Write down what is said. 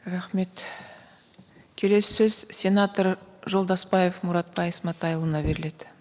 рахмет келесі сөз сенатор жолдасбаев мұратбай сматайұлына беріледі